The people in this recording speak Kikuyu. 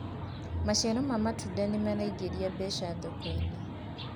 maciaro ma matunda maraingiria mbeca thoko-inĩ